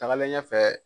Tagalen ɲɛfɛ